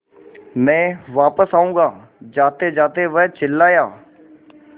मैं वापस आऊँगा जातेजाते वह चिल्लाया